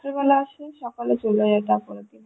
রাত্রিবেলা আসে সকালে চলে যায় তারপররের দিন